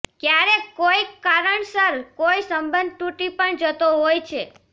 ક્યારેક કોઈક કારણસર કોઈ સંબંધ તૂટી પણ જતો હોય છે